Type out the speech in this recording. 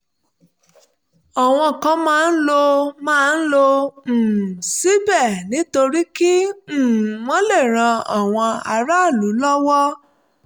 àwọn kan máa ń lọ máa ń lọ um síbẹ̀ nítorí kí um wọ́n lè ran àwọn aráàlú lọ́wọ́